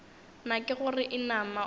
na ke gore inama o